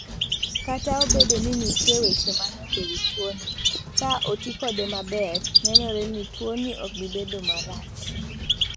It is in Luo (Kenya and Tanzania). Kata obedo ni nitie weche manok e wi tuoni, ka oti kode maber, nenore ni tuoni ok bi bedo marach.